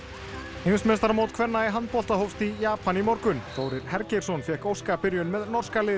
heimsmeistaramót kvenna í handbolta hófst í Japan í morgun Þórir fékk óska byrjun með norska liðið